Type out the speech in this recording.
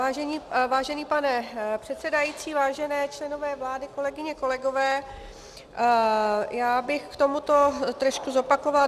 Vážený pane předsedající, vážení členové vlády, kolegyně, kolegové, já bych k tomuto trošku zopakovala.